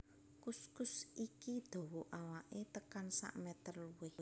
Kuskus iki dawa awaké tekan sakmétér luwih